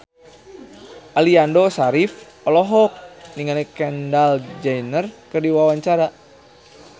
Aliando Syarif olohok ningali Kendall Jenner keur diwawancara